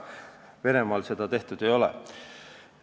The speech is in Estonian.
Venemaal seda tehtud ei ole.